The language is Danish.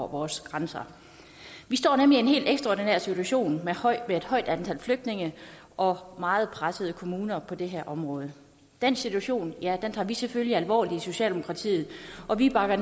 vores grænser vi står nemlig i en helt ekstraordinær situation med et højt antal flygtninge og meget pressede kommuner på det her område den situation tager vi selvfølgelig alvorligt i socialdemokratiet og vi bakker